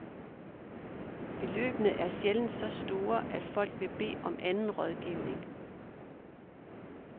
Beløbene er sjældent så store, at folk vil bede om anden rådgivning.